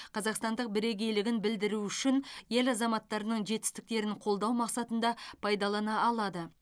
қазақстандық бірегейлігін білдіру үшін ел азаматтарының жетістіктерін қолдау мақсатында пайдалана алады